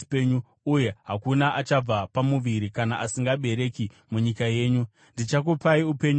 uye hakuna achabva pamuviri kana asingabereki munyika yenyu. Ndichakupai upenyu huzere.